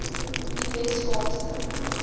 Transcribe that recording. die wes kaapse